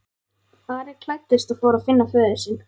Ari klæddist og fór að finna föður sinn.